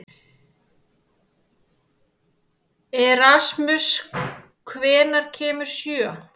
Erasmus, hvenær kemur sjöan?